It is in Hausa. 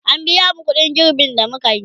an biya mu ƙuɗin girben da mukayi